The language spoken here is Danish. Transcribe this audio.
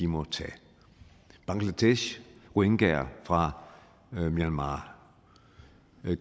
må tage bangladesh rohingyaer fra myanmar